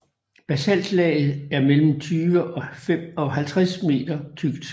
Basaltlaget er mellem 20 og 50 meter tykt